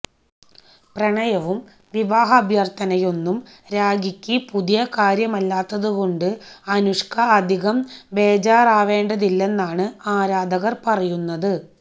പ്രണയവും വിവാഹാഭ്യര്ത്ഥനയൊന്നും രാഖിയ്ക്ക് പുതിയ കാര്യമല്ലാത്തതുകൊണ്ട് അനുഷ്ക അധികം ബേജാറാവേണ്ടതില്ലെന്നാണ് ആരാധകര് പറയുന്നത്